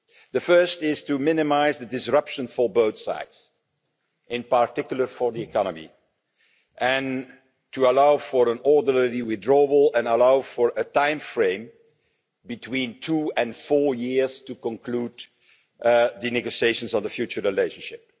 The first is to minimise the disruption for both sides, in particular for the economy, and to allow for an orderly withdrawal and allow for a timeframe between two and four years to conclude the negotiations on the future relationship.